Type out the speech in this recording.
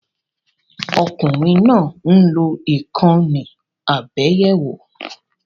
Ọmọkùnrin náà ń lò ìkànnì abẹ́yẹfò